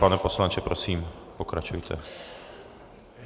Pane poslanče, prosím, pokračujte.